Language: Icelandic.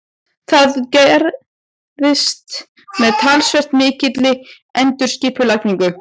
Það gerist með talsvert mikilli endurskipulagningu.